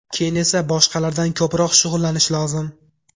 Keyin esa boshqalardan ko‘proq shug‘ullanish lozim.